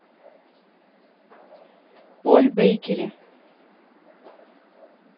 поль бейкери